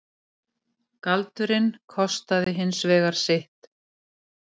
Galdurinn kostaði hins vegar sitt.